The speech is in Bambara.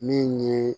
Min ye